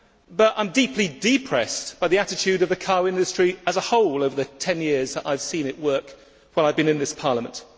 but I am deeply depressed by the attitude of the car industry as a whole over the 10 years that I have seen it work while I have been in this Parliament.